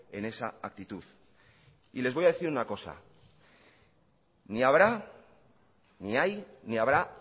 en esa actitud y les voy a decir una cosa ni habrá ni hay ni habrá